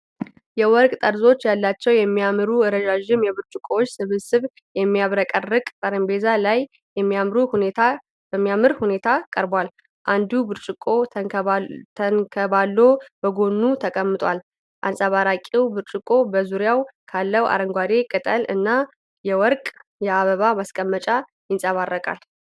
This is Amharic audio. የወርቅ ጠርዞች ያላቸው የሚያማምሩ ረዣዥም የብርጭቆዎች ስብስብ የሚያብረቀርቅ ጠረጴዛ ላይ በሚያምሩ ሁኔታ ቀርበዋል። አንዱ ብርጭቆ ተንከባሎ በጎኑ ተቀምጧል፤ አንጸባራቂው ብርጭቆ በዙሪያው ካለው አረንጓዴ ቅጠል እና የወርቅ የአበባ ማስቀመጫ ይንጸባረቃል።